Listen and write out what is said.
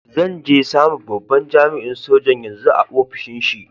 Zan je same babban jami'in sojan yanzu a'ofishin shi.